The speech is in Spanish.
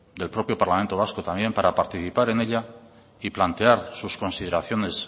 del propio parlamento vasco también para participar en ella y plantear sus consideraciones